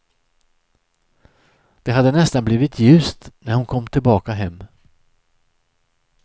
Det hade nästan blivit ljust när hon kom tillbaka hem.